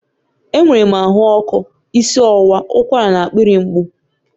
Enwere m ahụ ọkụ, isi ọwụwa, ụkwara na akpịrị mgbu